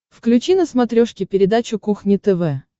включи на смотрешке передачу кухня тв